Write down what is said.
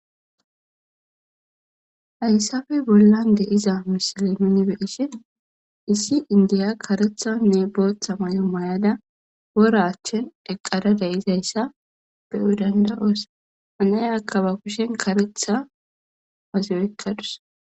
Hayssafe bollan de'iza misile nuni be'ishin issi indiya karethanne booththa mayo mayada wora achchan eqqada de'izayssa be'o danda7oos. Ha nayakka ba kushen kareththa wazi oykadus.